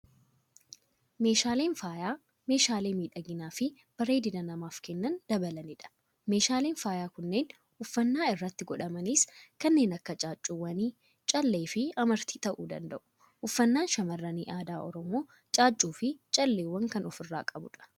Meeshaaleen faayaa, meeshaalee miidhagina fi bareedina namaaf kanneen dabalanidha. Meeshaaleen faayaa kanneen uffannaa irratti godhamanis kannee akka caaccuuwwanii, callee fi amartii ta'uu danda'u. Uffannaan shamaarranii aadaa Oromoo caaccuu fi calleewwan kan of irraa qabudha.